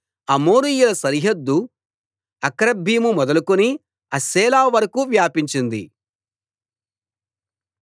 అమోరీయుల సరిహద్దు అక్రబ్బీము మొదలుకుని హస్సెలా వరకూ వ్యాపించింది